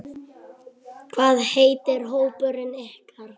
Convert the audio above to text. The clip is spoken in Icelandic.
Hvað heitir hópurinn ykkar?